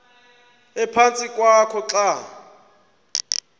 ephantsi kwakho xa